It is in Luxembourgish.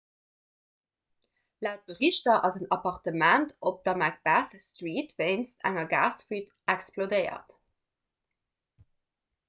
laut berichter ass en appartement op der macbeth street wéinst enger gasfuite explodéiert